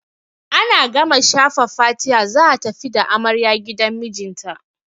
Ana gama shafa fatiha za a tafi da amarya gidan mijinta.